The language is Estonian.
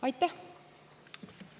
Aitäh!